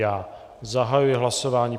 Já zahajuji hlasování.